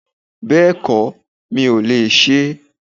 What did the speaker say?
Bẹ́ẹ̀kọ̀, mi ò lè se é